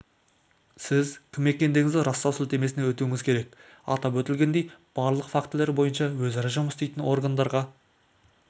сіз кім екендігіңізді растау сілтемесіне өтуіңіз керек атап өтілгендей барлық фактілер бойынша өзара жұмыс істейтін органдарға